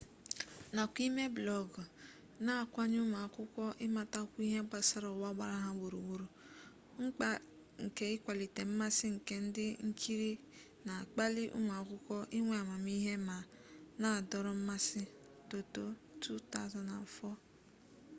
nakwa ime blọọgụ na-akwanye ụmụakwụkwọ ịmatakwu ihe gbasara ụwa gbara ha gburugburu. mkpa nke ịkwalite mmasị nke ndị nkiri na-akpali ụmụakwụkwọ inwe amamihe ma na-adọrọ mmasị toto 2004